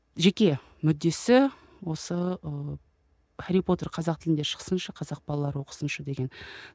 жеке мүддесі осы ы хәрри потер қазақ тілінде шықсыншы қазақ балалары оқысыншы деген